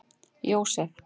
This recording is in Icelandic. Jósef